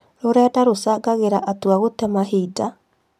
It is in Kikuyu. Rũrenda rũchangagĩra atũa gũte mahinda?